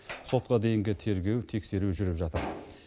сотқа дейінгі тергеу тексеру жүріп жатыр